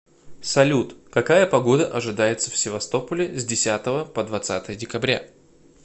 салют какая погода ожидается в севастополе с десятого по двадцатое декабря